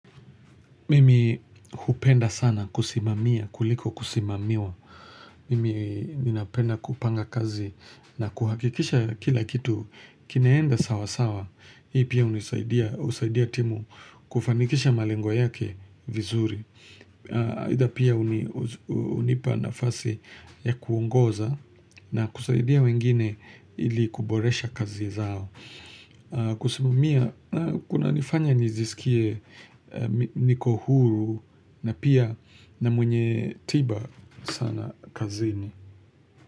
Mimi hupenda sana kusimamia, kuliko kusimamiwa. Mimi ninapenda kupanga kazi na kuhakikisha kila kitu. Kinaenda sawa sawa, hii pia unisaidia husaidia timu kufanikisha malengo yake vizuri. Aidha pia hunipa nafasi ya kuongoza na kusaidia wengine ili kuboresha kazi zao. Kusimamia, kunanifanya nijisikie niko huru na pia na mwenye tiba sana kazini.